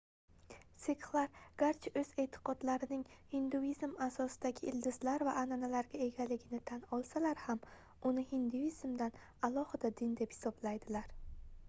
sikxlar garchi oʻz eʼtiqodlarining hinduizm asosidagi ildizlar va anʼanalarga egaligini tan olsalar ham uni hinduizmdan alohida din deb hisoblaydilar